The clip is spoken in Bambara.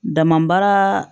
Dama baara